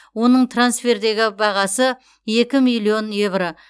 оның трансфердегі бағасы екі миллион еуро